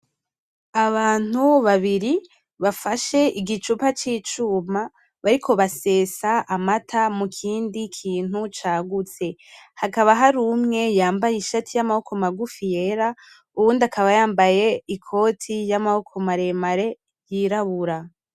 Abantu babiri bafashe agicupa k'icuma bariko basesa amata mukindi kintu cagutse, hakaba hari umwe yambaye ishati y'amaboko magufi yera uwundi akaba yambaye ikoti y'amaboko maremare yirabura.